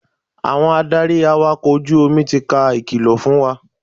Àwọn adarí awakọ̀ ojú omi ti ka ìkìlọ̀ fún wa.